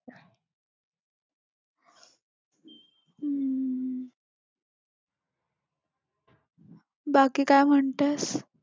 बाकी काय म्हणतेस?